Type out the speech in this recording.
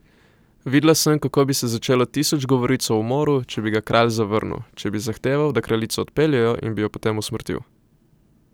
Videla sem, kako bi se začelo tisoč govoric o umoru, če bi ga kralj zavrnil, če bi zahteval, da kraljico odpeljejo, in bi jo potem usmrtil.